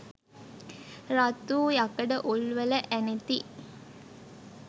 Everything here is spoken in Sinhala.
රත් වූ යකඩ උල්වල ඇනෙති.